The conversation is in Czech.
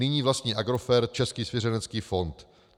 Nyní vlastní Agrofert Český svěřenecký fond.